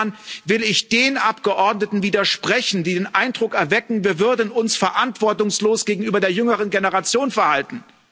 Insofern will ich den Abgeordneten widersprechen, die den Eindruck erwecken, wir würden uns verantwortungslos gegenüber der jüngeren Generation verhalten.